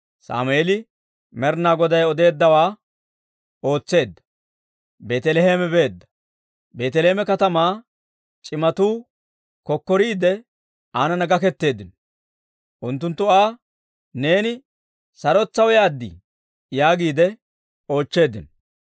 Sammeeli Med'inaa Goday odeeddawaa ootseedda; Beeteleeme beedda. Beeteleeme katamaa c'imatuu kokkoriidde aanana gaketeeddino. Unttunttu Aa, «Neeni sarotetsaw yaad?» yaagiide oochcheeddino.